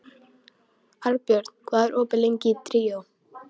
Arnbjörn, hvað er opið lengi í Tríó?